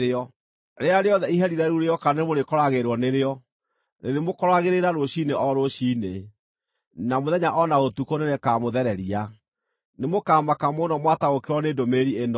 Rĩrĩa rĩothe iherithia rĩu rĩoka nĩmũrĩkoragĩrĩrwo nĩrĩo; rĩrĩmũkoragĩrĩra rũciinĩ o rũciinĩ, na mũthenya o na ũtukũ nĩrĩkamũthereria.” Nĩmũkamaka mũno mwataũkĩrwo nĩ ndũmĩrĩri ĩno.